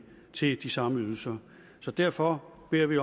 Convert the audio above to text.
til de samme ydelser så derfor beder vi